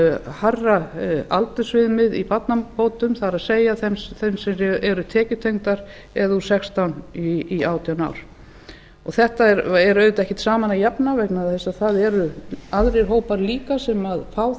hærra aldursviðmið í barnabótum það er þeim sem eru tekjutengdar eða úr sextán í átján ár þessu er auðvitað ekkert saman að jafna vegna þess að það eru aðrir hópar líka sem fá